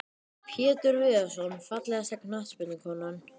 Pétur Viðarsson Fallegasta knattspyrnukonan?